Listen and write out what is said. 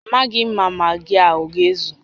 Amaghị m ma magị a aga-ezu